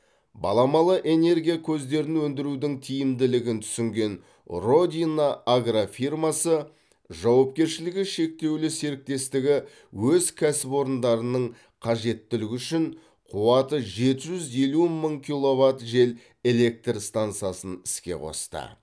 баламалы энергия көздерін өндірудің тиімділігін түсінген родина агрофирмасы жауапкершілігі шектеулі серіктестігі өз кәсіпорындарның қажеттілігі үшін қуаты жеті жүз елу мың киловатт жел электр стансасын іске қосты